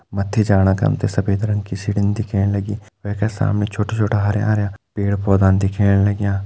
मत्थि जाणा खन त सफ़ेद रंग की सीडिन दिखेण लगीं वेका सामने छोटा-छोटा हर्या-हर्या पेड़ पौधा न दिखेण लग्यां।